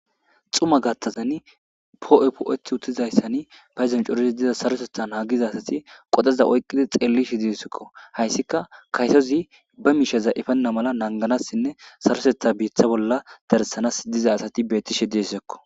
xuma gattazan po7e po7et uttizayssani payzon corise diza sarosetha naagiza asati qodeza oyqqidi xelli shi disekko hayssika kaytozi ba misheza ifenna mala nanganassinne sarosetha biiththa bolla darsanas diza asati bettishe diessekko